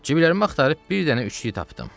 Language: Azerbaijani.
Ciblərimi axtarıb bir dənə üçlük tapdım.